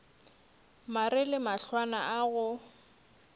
mare le mahlwana a go